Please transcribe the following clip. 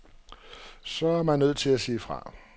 Så er man nødt til at sige fra.